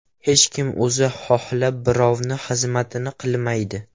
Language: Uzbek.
Hech kim o‘zi xohlab birovni xizmatini qilmaydi.